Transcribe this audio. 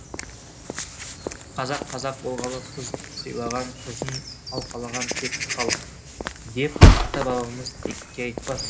қазақ қазақ болғалы қыз сыйлаған қызын алқалаған текті халық деп ата бабамыз текке айтпас